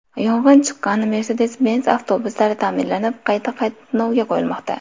Yong‘in chiqqan Mersedes-Benz avtobuslari ta’mirlanib, qayta qatnovga qo‘yilmoqda.